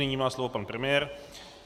Nyní má slovo pan premiér.